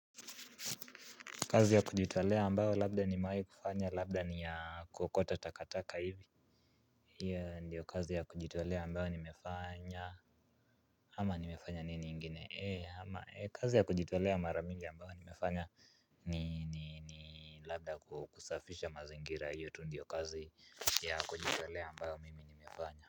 Kazi ya kujitolea ambayo labda nimewahi kufanya labda ni ya kuokota takataka hivi. Hio ndiyo kazi ya kujitolea ambayo nimefanya. Ama nimefanya nini ingine ama kazi ya kujitolea mara mingi ambayo nimefanya ni ni labda kukusafisha mazingira hiyo tu ndiyo kazi ya kujitolea ambayo mimi nimefanya.